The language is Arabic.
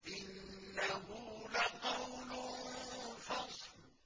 إِنَّهُ لَقَوْلٌ فَصْلٌ